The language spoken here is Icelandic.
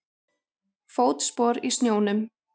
Fótspor í snjónum.